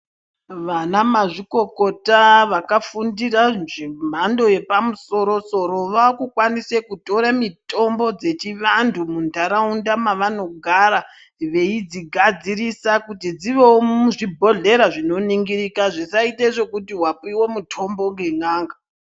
Wana mazvikokota wakafundira zvemhando yepamusoro soro waakukwanisa kutore mitombo dzechi vandu mundaraunda mwawanogara veidzigadzirisa kuti dziwewo muzvibhedhlera zvinoningirika zvisaite zvekuti wapiwe mitombo ngen'anga.